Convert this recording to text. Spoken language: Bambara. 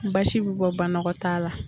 Ni basi bi bɔ banɔgɔtaa la.